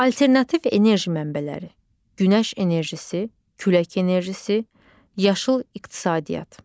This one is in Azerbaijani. Alternativ enerji mənbələri: Günəş enerjisi, Külək enerjisi, Yaşıl iqtisadiyyat.